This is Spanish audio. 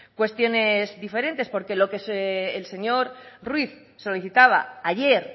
cuestiones diferentes porque lo que el señor ruíz solicitaba ayer